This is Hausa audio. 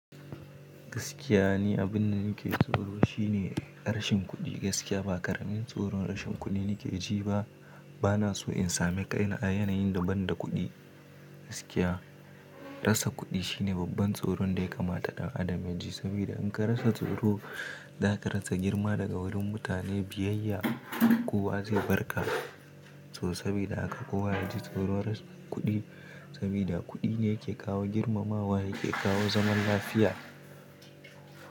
Gaskiya ne, abin da nake tsoro shine rashin kuɗi gaskiya. Ba ƙaramin tsoron rashin kuɗi nake ji ba. Bana so in sami ƙai na yanayin da ban da kuɗi gaskiya. Rasa kuɗi shine babban tsoron da ya kamata ɗan adam yaji. Saboda in ka rasa tsoro za ka rasa girma daga wurin mutane biyayya. Kowa zai barka so saboda haka kowa ya ji tsoron rasa kuɗi. Saboda kuɗi ne yake kawo girmamawa, yake kawo zaman lafiya.